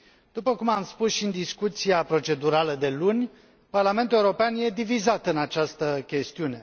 După cum am spus și în discuția procedurală de luni, Parlamentul European e divizat în această chestiune.